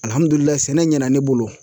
Alihamudulila sɛnɛ ɲɛna ne bolo